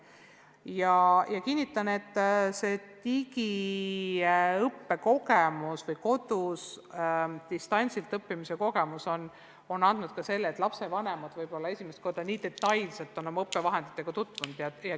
Ja ma kinnitan, et see digiõppe või kodus distantsilt õppimise kogemus on andnud tulemuseks ka selle, et lapsevanemad on võib-olla esimest korda nii detailselt oma lapse õppevahenditega tutvunud.